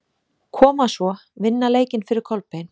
Koma svo, vinna leikinn fyrir Kolbein!